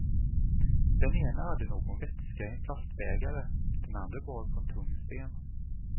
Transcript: Den ene hade någon vätska i en plastbägare, den andre bar på en tung sten.